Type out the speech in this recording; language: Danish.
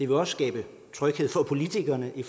vil også skabe tryghed for politikerne i